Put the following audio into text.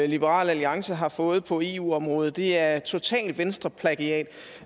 liberal alliance har fået på eu området det er totalt venstreplagiat